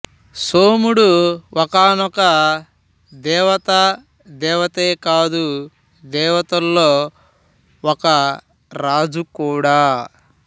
సోముడు ఒకానొక దేవత దేవతే కాదు దేవతల్లో ఒక రాజుకూడా